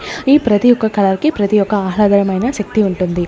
ఈ ప్రతి ఒక్క కలర్ కి ప్రతి ఒక్క ఆహ్లాదరమైన శక్తి ఉంటుంది.